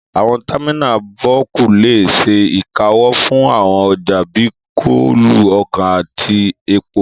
Àwọn támínà bọ́ọ̀kù lè ṣe ìkáwọ́ fún àwọn ọjà bíi kóòlù, ọkà àti epo